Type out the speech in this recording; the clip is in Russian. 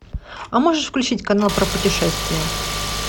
а можешь включить канал про путешествия